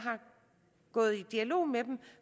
gået i dialog med dem